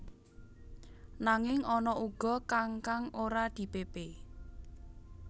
Nanging ana uga kang kang ora dipépé